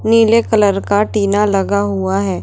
नीले कलर का टीना लगा हुआ है।